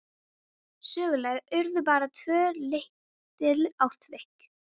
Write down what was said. Söguleg urðu bara tvö lítil atvik.